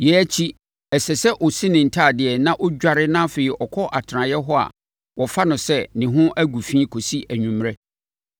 Yei akyi, ɛsɛ sɛ ɔsi ne ntadeɛ na ɔdware na afei ɔkɔ atenaeɛ hɔ a wɔfa no sɛ ne ho agu fi kɔsi anwummerɛ.